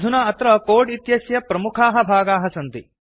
अधुना अत्र कोड् इत्यस्य प्रमुखाः भागाः सन्ति